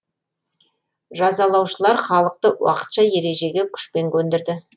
жазалаушылар халықты уақытша ережеге күшпен көндірді